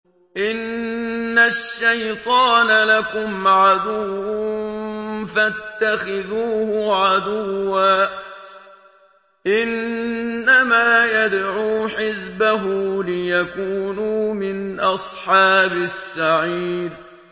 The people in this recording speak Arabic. إِنَّ الشَّيْطَانَ لَكُمْ عَدُوٌّ فَاتَّخِذُوهُ عَدُوًّا ۚ إِنَّمَا يَدْعُو حِزْبَهُ لِيَكُونُوا مِنْ أَصْحَابِ السَّعِيرِ